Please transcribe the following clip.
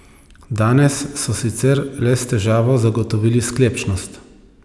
Danes so sicer le s težavo zagotovili sklepčnost.